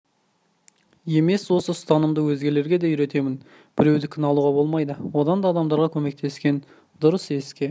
емес осы ұстанымды өзгелерге де үйретемін біреудікін алуға болмайды одан да адамдарға көмектескен дұрыс еске